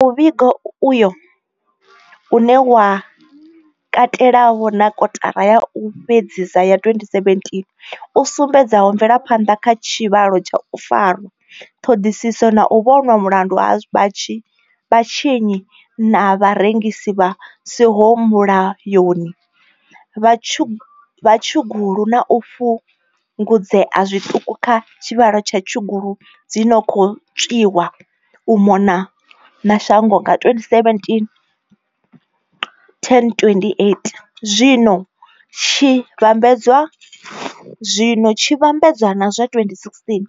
Muvhigo uyo, une wa katelavho na kotara ya u fhedzisa ya 2017, u sumbedzaho mvelaphanḓa kha tshivhalo tsha u farwa, ṱhoḓisiso na u vhonwa mulandu ha vhatswi na vharengisi vha siho mulayoni vha tshugulu na u fhungudzea zwituku kha tshivhalo tsha tshigulu dzi no khou tswiwa u mona na shango nga 2017, 1028, zwi tshi vhambedzwa na zwa 2016,